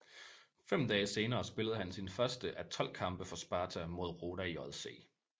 Fem dage senere spillede han sin første af 12 kampe for Sparta mod Roda JC